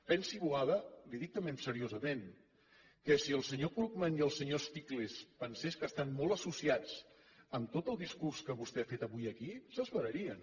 pensi boada li ho dic també seriosament que si el senyor krugman i el senyor stiglitz pensessin que estan molt associats amb tot el discurs que vostè ha fet avui aquí s’esverarien